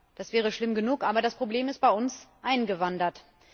Das wäre schlimm genug aber das Problem ist bei uns eingewandert.